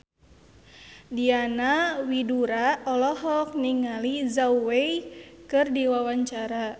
Diana Widoera olohok ningali Zhao Wei keur diwawancara